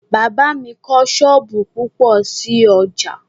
Bàbá mi kọ́ sọ́ọ̀bù púpọ̀ sí l'ọ́jà